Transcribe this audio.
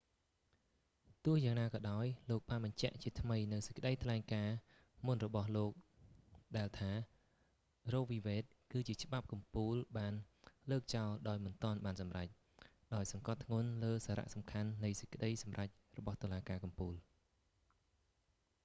ទោះយ៉ាងណាក៏ដោយ លោកបានបញ្ជាក់ជាថ្មីនូវសេចក្តីថ្លែងការណ៍មុនរបស់លោកដែលថា រ៉ូវី វេដ roe v wade គឺជាច្បាប់កំពូលបានលើកចោលដោយមិនទាន់បានសម្រេច ដោយសង្កត់ធ្ងន់លើសារសំខាន់នៃសេចក្តីសម្រេចរបស់តុលាការកំពូល